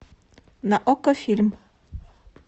на окко фильм